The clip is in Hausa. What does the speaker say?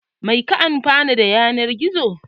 Mai ka amfana daga yanar gizo?